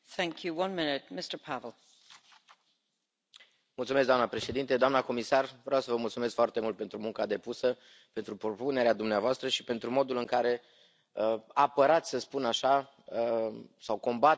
Doamnă președintă, doamnă comisar, vreau să vă mulțumesc foarte mult pentru munca depusă, pentru propunerea dumneavoastră și pentru modul în care apărați să spun așa sau combateți această indexare a beneficiilor sociale pentru creșterea copilului.